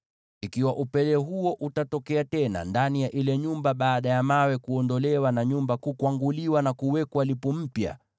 “Ikiwa upele huo utatokea tena ndani ya ile nyumba baada ya mawe kuondolewa na nyumba kukwanguliwa na kuwekwa lipu mpya,